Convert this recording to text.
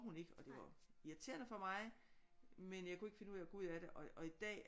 Hun ikke og det var irriterende for mig men jeg kunne ikke finde ud af at gå ud af det og i dag